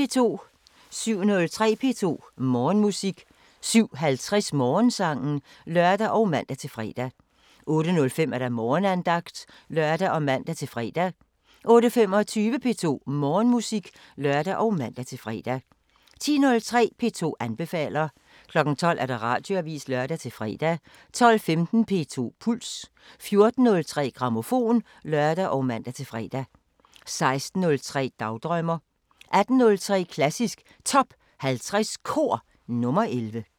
07:03: P2 Morgenmusik 07:50: Morgensangen (lør og man-fre) 08:05: Morgenandagten (lør og man-fre) 08:25: P2 Morgenmusik (lør og man-fre) 10:03: P2 anbefaler 12:00: Radioavisen (lør-fre) 12:15: P2 Puls 14:03: Grammofon (lør og man-fre) 16:03: Dagdrømmer 18:03: Klassisk Top 50 Kor – nr. 11